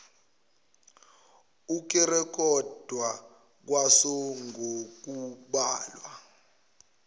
ukurekhodwa kwaso ngokubhala